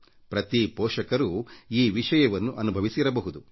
ಎಲ್ಲ ಪೋಷಕರಿಗೂ ಈ ಅನುಭವ ಆಗಿರಬಹುದು